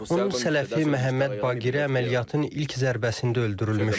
Onun sələfi Məhəmməd Baqiri əməliyyatın ilk zərbəsində öldürülmüşdü.